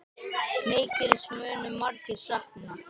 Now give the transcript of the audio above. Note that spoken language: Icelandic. Mikils munu margir sakna.